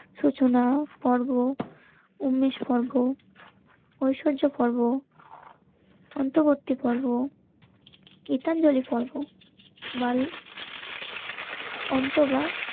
সূচনা পর্ব উনিশ পর্ব ঐশ্বর্য পর্ব অন্ত করতে পারবো. গীতাঞ্জলি পড়বো. World অন্তবা.